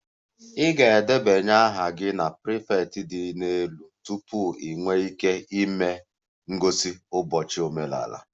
Ị ga-edebanye aha gị na prefect dị elu tupu ị nwee ike ịme ngosi n'ụbọchị omenala